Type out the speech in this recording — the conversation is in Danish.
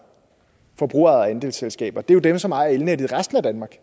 forbrugerejede andelsselskaber det er jo dem som ejer elnettet i resten af danmark